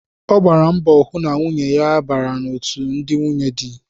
Ọ gbara mbọ hụ na nwunye ya bara otú ndị nwunye dị